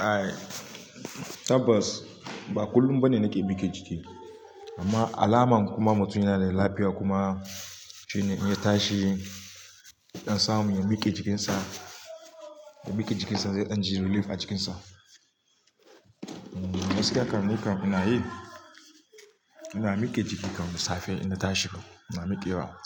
Ai tabbas ba kullum bane nake mike jiki. Amma alamar kuma mutum yana da lafiya kuma shine in ya tashi, yadan samu ya mike jikinsa, ya mike jikinsa zai dan ji relief a jikinsa. Gaskiya kan nika ina yi, ina mike jiki kam da safe inna tashi ko ina mike wa.